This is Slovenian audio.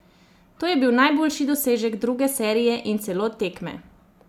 To je bil najboljši dosežek druge serije in celo tekme!